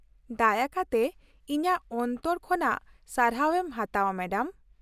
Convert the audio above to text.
ᱫᱟᱭᱟ ᱠᱟᱛᱮ ᱤᱧᱟᱹᱜ ᱚᱱᱛᱚᱨ ᱠᱷᱚᱱᱟᱜ ᱥᱟᱨᱦᱟᱣ ᱮᱢ ᱦᱟᱛᱟᱣᱼᱟ , ᱢᱮᱰᱟᱢ ᱾